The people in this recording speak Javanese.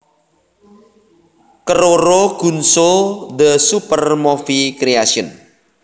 Keroro Gunso the Super Movie Creation